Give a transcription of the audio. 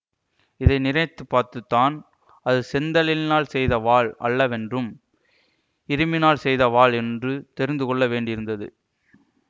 இதை நினைத்து பார்த்துத்தான் அது செந்தழலினால் செய்த வாள் அல்லவென்றும் இரும்பினால் செய்த வாள் என்று தெரிந்துகொள்ள வேண்டியிருந்தது